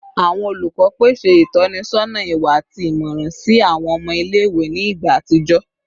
Awọn olukọ pese itọnisọna iwa ati imọran si awọn ọmọ ile-iwe ni igba atijọ